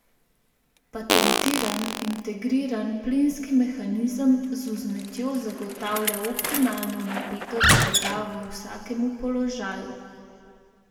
Patentiran, integriran plinski mehanizem z vzmetjo zagotavlja optimalno napetost blaga v vsakem položaju.